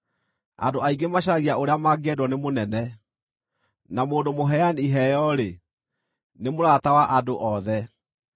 Andũ aingĩ macaragia ũrĩa mangĩendwo nĩ mũnene, na mũndũ mũheani iheo-rĩ, nĩ mũrata wa andũ othe.